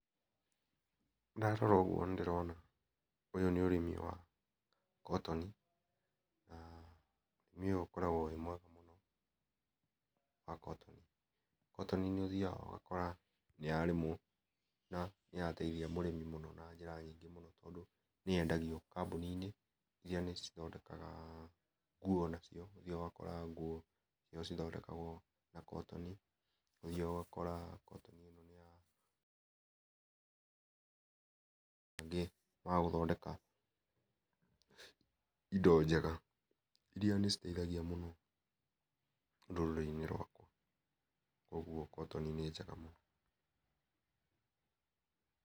Ndarora ũguo nĩndĩrona ũyũ nĩ ũrĩmi wa cotton na ũrĩmi ũyũ ũkoragwo wĩ mwega mũno wa cotton. cotton nĩ ũthiaga ũgakora nĩyarĩmwo nĩ ya teithia mũrĩmi mũno na njĩra nyingĩ mũno, tondũ nĩ yendagio kambuni-inĩ iria nĩ cithondakaga nguo nacio, ũthiaga ũgakora nguo nĩ cithondekagwo na cotton, ũthiaga ũgakora cotton nĩyatuĩka ya gũthondeka indo njega iria nĩ citeithagia mũno rũrĩrĩ-inĩ rwakwa koguo cotton nĩ njega mũno.